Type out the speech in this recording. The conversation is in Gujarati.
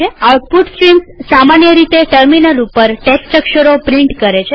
આઉટપુટ સ્ટ્રીમ્સ સામાન્ય રીતે ટર્મિનલ ઉપર ટેક્સ્ટ અક્ષરો પ્રિન્ટ કરે છે